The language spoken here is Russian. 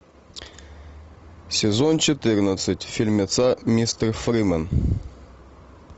сезон четырнадцать фильмеца мистер фримен